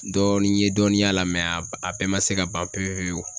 Dɔɔnin n ye dɔnniya la a bɛɛ ma se ka ban pewu pewu